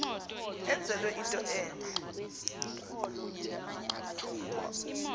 enzelwe into entle